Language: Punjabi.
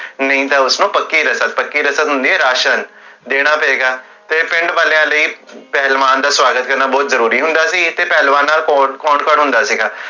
ਨਹੀ ਤਾ ਉਸਨੁ ਪੱਕੀ ਰਸਮ ਪੱਕੀ ਰਸਮ ਹੁੰਦੀ ਹੈ, ਰਾਸ਼ਨ ਫੇਰ ਪਿੰਡ ਵਾਲਿਆਂ ਲਈ ਪਹਲਵਾਨ ਦਾ ਸਵਾਗਤ ਕਰਨਾ ਬੋਹੋਤ ਜਰੂਰੀ ਹੁੰਦੇ